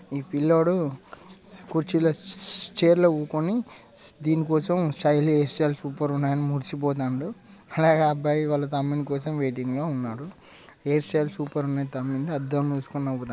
ఈ పిల్లోడు కుర్చీ లో స్-స్-చైర్ కూకోని దీని కోసం స్టైలి హైర్సటైల్ సూపర్ గ ఉన్నది అని మురిసిపోతాండు అలాగే ఆ అబ్బాయి వాళ్ళ తమ్ముని కోసం వెయిటింగ్ లో ఉన్నాడు హెయిర్ స్టైల్ సూపర్ గ ఉన్నది తమ్మునిది అద్దం లో చూసుకొని నవ్వు--